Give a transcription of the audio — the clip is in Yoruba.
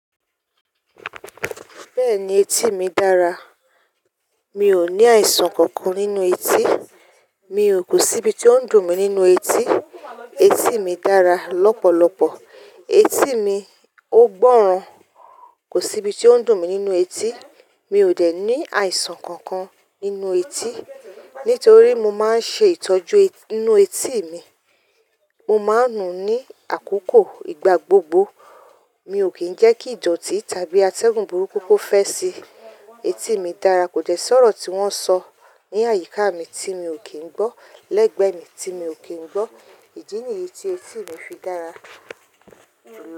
Bẹ́ẹ̀ni etí mi dára. Mi ò ní àìsàn kankan nínú etí. Mi o kò sí ibi tí ó ń dùn mí nínú etí. Etí mi dára lọ́pọ̀lọpọ̀. Etí mi ò gbọ́ràn. Kò sí ibi tí ó ń dùn mí nínú etí. Mi ò dẹ̀ ní àìsàn kankan nínú etí nítorí mo máa ń ṣe ìtọ́jú inú etí mi. Mo máa ń nu ní àkókò igba gbogbo. Mi ò kí ń jẹ́ kí ìdọ̀tí tàbí atẹ́gùn burúkú kó fẹ́ sí i. Etí mi dára. Kò dẹ́ sọ́rọ̀ tí wọ́n sọ ní àyíká mi tí mi ò kí ń gbọ́, lẹ́gbẹ̀ẹ́ mi tí mi ò kí ń gbọ́. Ìdí nìyí tí etí mi fi dára.